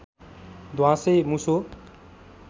ध्वाँसे मुसो